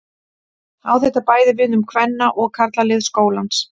Á þetta bæði við um kvenna- og karlalið skólans.